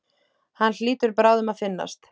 Hann hlýtur bráðum að finnast.